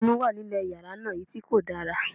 Omi wà nílé yàrá náà, èyí kò dára.